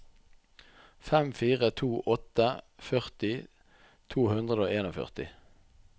fem fire to åtte førti to hundre og førtien